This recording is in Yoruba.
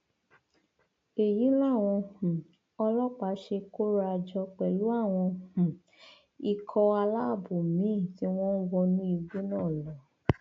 èyí làwọn um ọlọpàá ṣe kóra jọ pẹlú àwọn um ikọ aláàbọ míín tí wọn wọnú igbó náà lọ